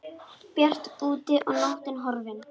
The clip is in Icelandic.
Bjart úti og nóttin horfin.